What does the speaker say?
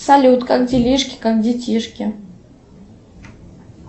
салют как делишки как детишки